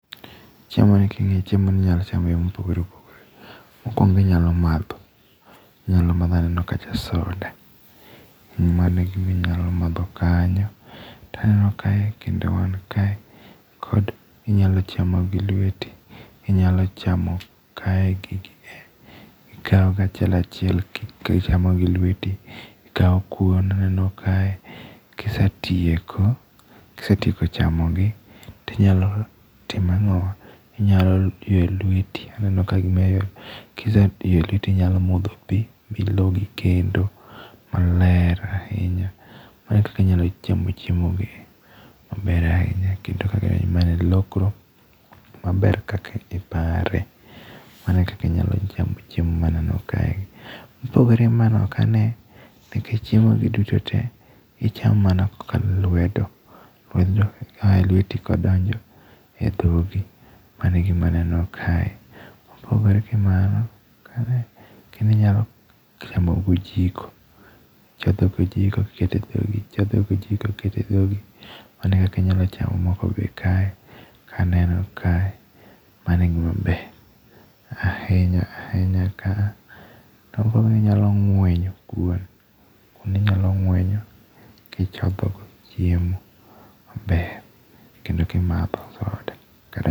Chiemo ni king'iyo, chiemo ni inyalo cham e yore mopogore opogore. Mokuongo inyalo madho. Inyalo madho, aneno kacha soda. Mano e gima inyalo madho kanyo. Taneno kae kendo wan kae kod inyalo chamo gi lweti, inyalo chamo kae gigi e. Ikao gi achiel achiel kichamo gi lweti. Ikao kuon aneno kae. Kisetieko, kisetieko chamo gi, tinyalo timo ang'owa, inyalo ywe lweti. Aneno ka gima iywe. Kise yweyo lweti tinyalo modho pi, bilogi kendo maler ahinya. Mae ekaka inyalo chamo chiemo gi maber ahinya. Kendo kaka e lokro maber kaka ipare. Mano e kaka inyalo chamo chiemo maneno kae. Mopogore ma ne ok ane, nikech chiemo gi duto tee, ichamo mana kokalo e lwedo. Lwedo ka ae lweti kadonjo e dhogi. Mano e gima aneno kae. Kopogore gi mano, kare kendo inyalo chamo gi ojiko. Ichodho gi ojiko iketo e dhogi, ichodho gi ojiko iketo e dhogi. Mano e kaka inyalo chamo moko be kae kaneno kae. Mano e gima ber ahinya ahinya kaa. To ka inyalo ng'wenyo kuon. Kuon inyalo ng'wenyo gichodho go chiemo be kendo kimadho soda kata...